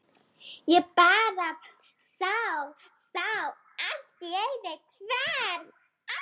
Ég bara sá. sá allt í einu hvern